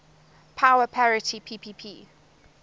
power parity ppp